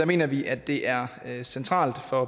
mener vi at det er er centralt for